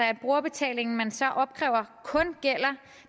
at brugerbetalingen man så opkræver kun gælder